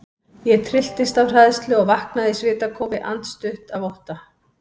Ég trylltist af hræðslu og vaknaði í svitakófi, andstutt af ótta.